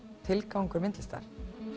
tilgangur myndlistar